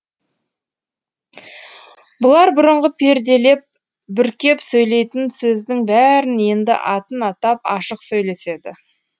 бұлар бұрынғы перделеп бүркеп сөйлейтін сөздің бәрін енді атын атап ашық сөйлеседі